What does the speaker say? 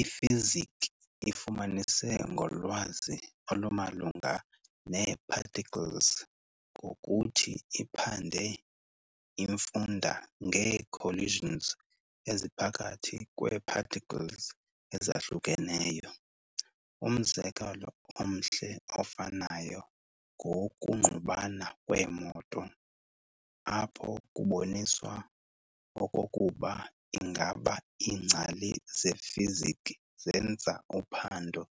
IFiziki ifumanise ngolwazi olumalunga nee-particles ngokuthi iphande imfunda ngee-collisions eziphakathi kwee-particles ezahlukeneyo. Umzekelo omhle ofanayo ngowokungqubana kweemoto, apho kuboniswa okokuba ingaba iingcali zeFiziki zenza uphando